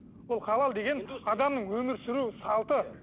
ол халал деген адамның өмір сүру салты